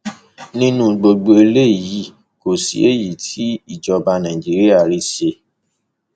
nínú gbogbo eléyìí kò sí èyí tí ìjọba nàìjíríà rí ṣe